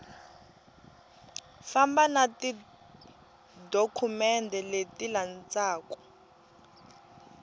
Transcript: famba na tidokumende leti landzaku